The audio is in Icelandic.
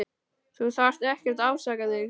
Þú þarft ekkert að afsaka þig.